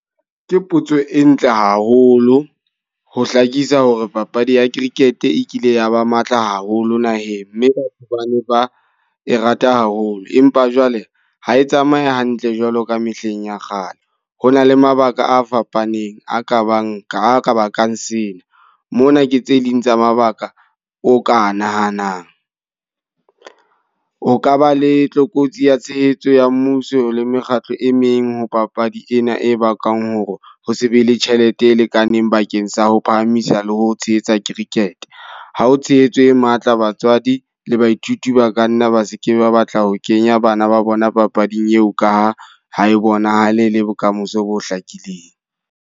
Ke potso e ntle haholo ho hlakisa hore papadi ya cricket e kile ya ba matla haholo naheng. Mme ba ne ba e rata haholo. Empa jwale ha e tsamaya hantle jwalo ka mehleng ya kgale. Ho na le mabaka a fapaneng a ka bang ka ka bakang sena. Mona ke tse ding tsa mabaka o ka nahanang. O ka ba le tlokotsi ya tshehetso ya mmuso le mekgatlo e meng ho papadi ena e bakang hore ho se be le tjhelete e lekaneng bakeng sa ho phahamisa le ho tshehetsa cricket. Ha o tshehetso e matla, batswadi le baithuti ba ka nna ba se ke ba batla ho kenya bana ba bona papading eo ka ha e bonahale le bokamoso bo hlakileng.